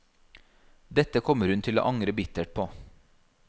Dette kommer hun til å angre bittert på.